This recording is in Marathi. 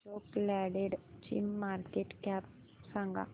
अशोक लेलँड ची मार्केट कॅप सांगा